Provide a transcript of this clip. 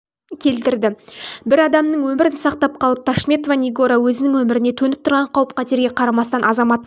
келтірді бір адамның өмірін сақтап қалып ташметова нигора өзінің өміріне төніп тұрған қауіп-қатерге қарамастан азаматтық